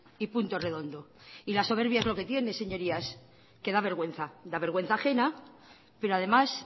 y punto redondo y la soberbia es lo que tiene señorías que da vergüenza da vergüenza ajena pero además